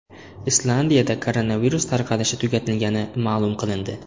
Islandiyada koronavirus tarqalishi tugatilgani ma’lum qilindi.